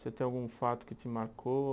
Você tem algum fato que te marcou?